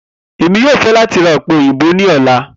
Emi yoo fẹ lati ra òpè-òyìnbó ni ọla.